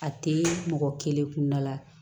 A tɛ mɔgɔ kelen kunda la